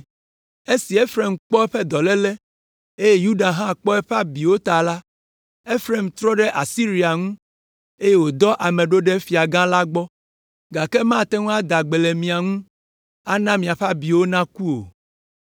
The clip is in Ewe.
“Esi Efraim kpɔ eƒe dɔléle, eye Yuda hã kpɔ eƒe abiwo ta la, Efraim trɔ ɖe Asiria ŋu, eye wòdɔ ame ɖo ɖe fiagã la gbɔ, gake mate ŋu ada gbe le mia ŋu, ana miaƒe abiwo naku o.